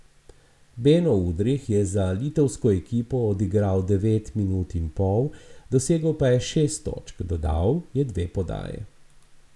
Beno Udrih je za litovsko ekipo odigral devet minut in pol, dosegel pa je šest točk, dodal je dve podaji.